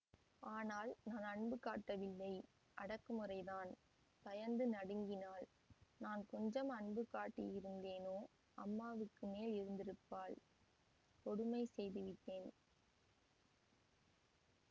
ஆனால் நான் அன்பு காட்டவில்லை அடக்குமுறை தான் பயந்து நடுங்கினாள் நான் கொஞ்சம் அன்பு காட்டியிருந்தேனோ அம்மாவுக்கு மேல் இருந்திருப்பாள் கொடுமை செய்துவிட்டேன்